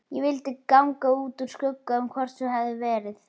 Ég vildi ganga úr skugga um hvort svo hefði verið.